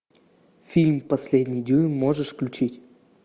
фильм последний дюйм можешь включить